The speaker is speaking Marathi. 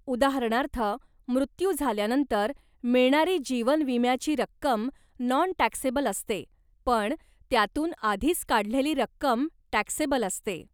उदाहरणार्थ, मृत्यू झाल्यानंतर मिळणारी जीवन विम्याची रक्कम नॉन टॅक्सेबल असते, पण त्यातून आधीच काढलेली रक्कम टॅक्सेबल असते.